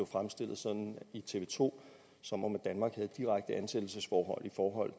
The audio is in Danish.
fremstillet i tv to som om danmark havde et direkte ansættelsesforhold i forhold